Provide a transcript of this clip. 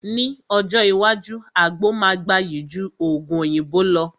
Ní ọjọ́ iwájú, àgbo máa gbayì ju Ògùn òyìnbó lọ